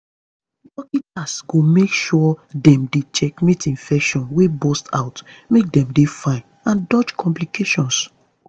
dokita's go make sure dem dey checkmate infection wey burst out make dem dey fine and dodge complications